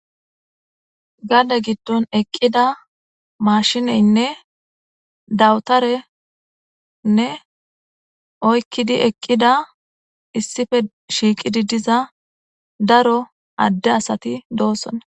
Gade gidon eqida mashinenne dawutarenne oyiqidi eqida issippe shiqidi diza daro ade asati dosona